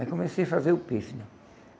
Aí comecei a fazer o pife, não é?